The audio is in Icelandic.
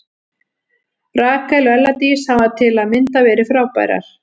Rakel og Ella Dís hafa til að mynda verið frábærar.